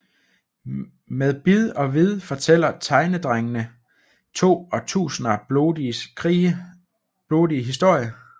Med bid og vid fortæller Tegnedrengene to årtusinders blodige historie